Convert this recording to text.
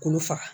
K'olu faga